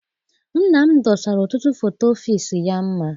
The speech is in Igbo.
Nna m dosara ọtụtụ foto ọfịịsi ya mma.